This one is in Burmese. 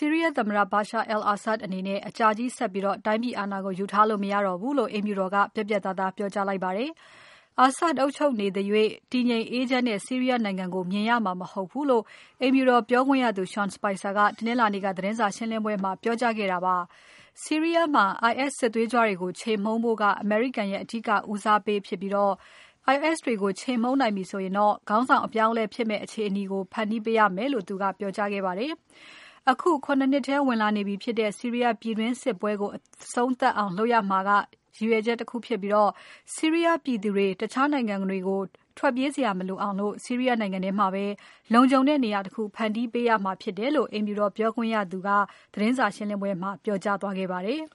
ီးရီးယားသမ္မတ Bashar al-Assad အနေနဲ့ အကြာကြီးဆက်ပြီးတိုင်းပြည်အာဏာကို ယူထားလို့ မရတော့ဘူးလို့ အိမ်ဖြူတော်က ပြတ်ပြတ်သားသားပြောကြားခဲ့ပါတယ်။ Assad အုပ်ချုပ်နေသရွေ့ တည်ငြိမ်အေးချမ်းတဲ့ ဆီးရီးယားနိုင်ငံကို မျှော်မှန်းကြည့်လို့ရမှာ မဟုတ်ဘူးလို့ အိမ်ဖြူတော်ပြောခွင့်ရသူ Sean Spicer ကသတင်းစာရှင်းပွဲမှာ ပြောကြားခဲ့ပါတယ်။ အမေရိကန်ရဲ့ အဓိကဦးစားပေးက IS စစ်သွေးကြွတွေကို အောင်နိုင်ဖို့ဖြစ်ပြီး။ IS တွေကို ခြေမှုန်းနိုင်ပြီဆိုရင် ခေါင်းဆောင်အပြောင်းအလဲဖြစ်နိုင်မယ့် အခြေအနေကို ဖန်တီးပေးရမှာဖြစ်တယ်လို့ သူကဆိုပါတယ်။ ရည်မှန်းချက်တခုက ၇ နှစ်ထဲရောက်နေတဲ့ ဆီးရီးယားပြည်တွင်းစစ်ကို အဆုံးသတ်ဖို့ဖြစ်ပြီး စစ်ဒဏ်ခံနေရတဲ့ ဆီးရီးယားပြည်သူတွေအနေနဲ့ တခြားနိုင်ငံတွေဆီ ထွက်ပြေးစရာမလိုဘဲ သူတို့နိုင်ငံထဲမှာ လုံလုံခြုံခြုံ ဆက်ပြီးနေထိုင်နိုင်အောင် ဖန်တီးပေးရမယ်လို့ အိမ်ဖြူတော်ပြောခွင့်ရသူ Sean Spicer ကတနင်္လာနေ့က သတင်းစာရှင်းပွဲမှာ ပြောသွားခဲ့ပါတယ်။